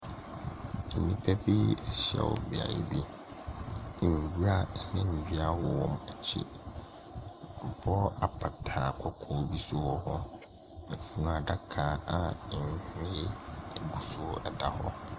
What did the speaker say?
Nnipa bi ahyia wɔ beaeɛ bi. Nwura ne nnua wɔ wɔn akyi. W'abɔ apata kɔkɔɔ bi nso wɔ hɔ. Flaage a nhwiren gu so ɛwɔ hɔ.